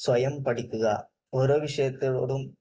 സ്വയം പഠിക്കുക. ഓരോ വിഷയത്തോടും